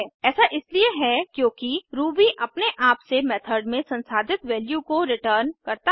ऐसा इसलिए है क्योंकि रूबी अपने आप से मेथड में संसाधित वैल्यू को रिटर्न करता है